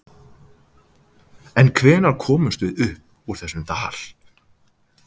En hvenær komumst við upp úr þessum dal?